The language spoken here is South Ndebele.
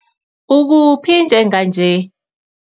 Ukuphi njenganje?